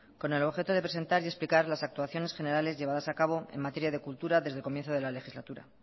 con el objeto de presentar y explicar las actuaciones generales llevadas a cabo en materia de cultura desde el comienzo de la legislatura